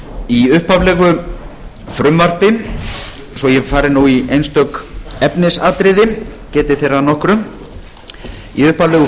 í upphaflegu frumvarpi svo ég fari í einstök efnisatriði geti þeirra að nokkru í upphaflegu